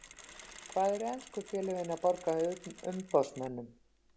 Hvað eru ensku félögin að borga umboðsmönnum?